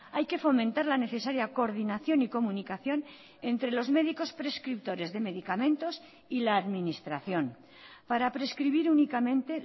hay que fomentar la necesaria coordinación y comunicación entre los médicos prescriptores de medicamentos y la administración para prescribir únicamente